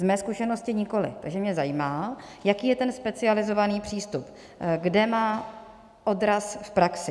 Z mé zkušenosti nikoliv, takže mě zajímá, jaký je ten specializovaný přístup, kde má odraz v praxi.